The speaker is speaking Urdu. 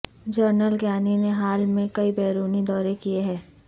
جنرل کیانی نے حال میں کئی بیرونی دورے کیے ہیں